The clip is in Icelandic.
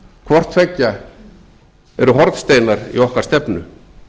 hvort tveggja eru hornsteinar í okkar stefnu